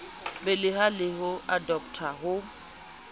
beleha le ho adoptha ho